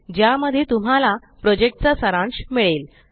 ज्या मध्ये तुम्हाला प्रोजेक्ट चा सारांश मिळेल